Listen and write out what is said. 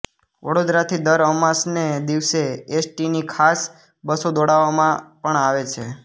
વડોદરાથી દર અમાસને દિવસે એસ ટી ની ખાસ બસો દોડાવવામાં પણ આવે છે